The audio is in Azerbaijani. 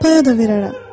Payada verərəm.